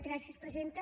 gràcies presidenta